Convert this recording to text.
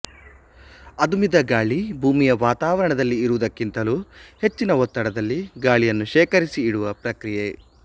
ಅದುಮಿದ ಗಾಳಿ ಭೂಮಿಯ ವಾತಾವರಣದಲ್ಲಿ ಇರುವುದಕ್ಕಿಂತಲೂ ಹೆಚ್ಚಿನ ಒತ್ತಡದಲ್ಲಿ ಗಾಳಿಯನ್ನು ಶೇಖರಿಸಿ ಇಡುವ ಪ್ರಕ್ರಿಯೆ